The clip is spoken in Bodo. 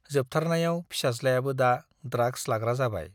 जोबथारनायाव फिसाज्लायाबो दा ड्राग्स लाग्रा जाबाय।